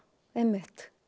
einmitt